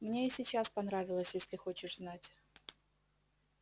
мне и сейчас понравилось если хочешь знать